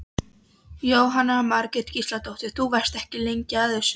Jóhanna Margrét Gísladóttir: Þú varst ekki lengi að þessu?